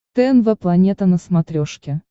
тнв планета на смотрешке